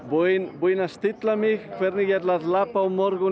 er búinn að stilla mig hvernig ég ætla að labba á morgun